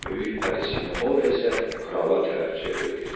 Böyük pəri Sinamora isə krala tərəf çevrildi.